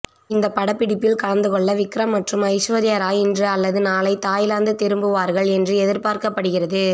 இந்த படப்பிடிப்பில் கலந்து கொள்ள விக்ரம் மற்றும் ஐஸ்வர்யா ராய் இன்று அல்லது நாளை தாய்லாந்து திரும்புவார்கள் என்று எதிர்பார்க்கப்படுகிறது